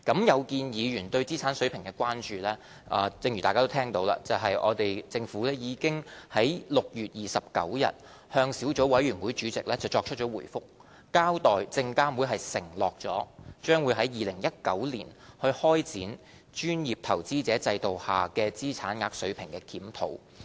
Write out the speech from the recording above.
有見議員對資產額水平的關注，正如大家已聽到，政府已在6月29日向小組委員會主席作出回覆，交代證監會已承諾將會於2019年開展專業投資者制度下的資產額水平的檢討。